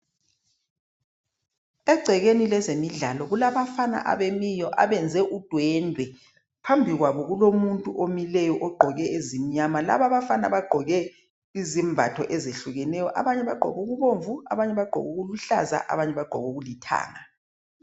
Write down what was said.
Egcekeni lezemidlalo kulabafana abamileyo abenza udwendwe. Phambili kwabo kulomuntu omileyo ogqoke ezimnyama. Laba abafana bagqoke izembatho ezitshiyeneyo abanye bagqoke okubomvu abanye bagqoke okuluhlaza abanye bagqoke okulithanga.